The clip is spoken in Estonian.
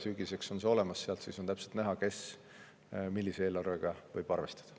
Sügiseks on see olemas ja sealt on täpselt näha, kes millise eelarvega võib arvestada.